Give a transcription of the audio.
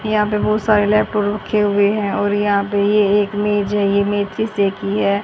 यहां पे बहुत सारे लैपटॉप रखे हुए हैं और यहां पे ये एक मेज है यह मेज शीशे की है।